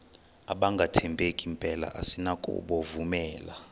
abangathembeki mpela asinakubovumela